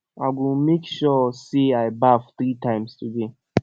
i go make sure make sure sey i baff three time today